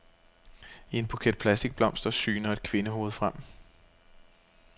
I en buket plastikblomster syner et kvindehoved frem.